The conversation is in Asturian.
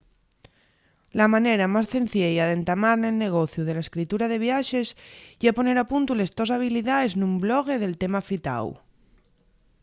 la manera más cenciella d'entamar nel negociu de la escritura de viaxes ye poner a puntu les tos habilidaes nun blogue del tema afitáu